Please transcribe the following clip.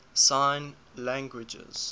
sign languages